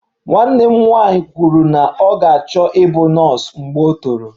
Nwanne m nwanyị kwuru na ọ ga-achọ ịbụ nọọsụ mgbe o toro